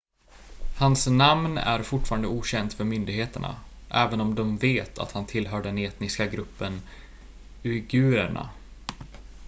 hans namn är fortfarande okänt för myndigheterna även om de vet att han tillhör den etniska gruppen uigurerna